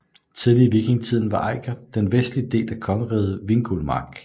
Tidlig i vikingetiden var Eiker den vestlige del af kongeriget Vingulmark